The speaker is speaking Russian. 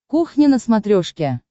кухня на смотрешке